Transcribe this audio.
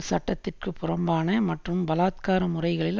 சட்டத்திற்கு புறம்பான மற்றும் பலாத்கார முறைகளில்